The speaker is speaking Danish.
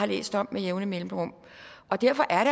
læse om med jævne mellemrum derfor er